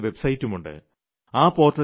ആ പദ്ധതിയുടെ വെബ്സൈറ്റുമുണ്ട്